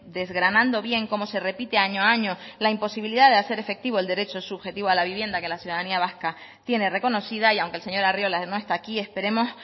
desgranando bien cómo se repite año a año la imposibilidad de hacer efectivo el derecho subjetivo a la vivienda que la ciudadanía vasca tiene reconocida y aunque el señor arriola no está aquí esperemos